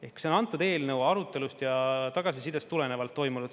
Ehk see on antud eelnõu arutelust ja tagasisidest tulenevalt toimunud.